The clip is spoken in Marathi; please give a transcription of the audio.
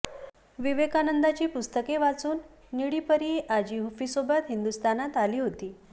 विवेकानंदांची पुस्तके वाचून निळी परी आजी व्हूफीसोबत हिंदुस्थानात आली होती